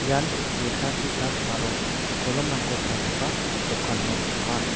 ian lekka ki·tap aro kolomrangko palgipa dokan ong·a.